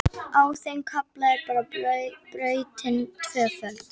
Á þeim kafla er brautin tvöföld